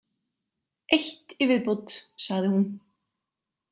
Eitt í viðbót, sagði hún.